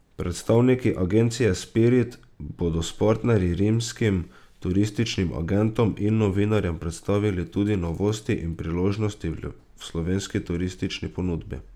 Predstavniki agencije Spirit bodo s partnerji rimskim turističnim agentom in novinarjem predstavili tudi novosti in priložnosti v slovenski turistični ponudbi.